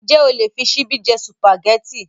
Ǹjẹ́ o lè fí ṣíbí jẹ Sùpàgẹ́tì?